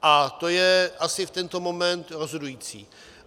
A to je asi v tento moment rozhodující.